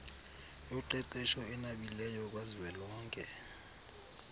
yoqeqesho enabileyo kazwelonke